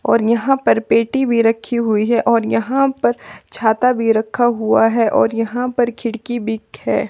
और यहां पर पेटी भी रखी हुई है और यहां पर छाता भी रखा हुआ है और यहां पर खिड़की भी एक है।